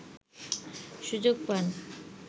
সুযোগ পান